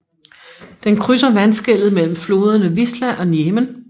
Den krydser vandskellet mellem floderne Wisła og Njemen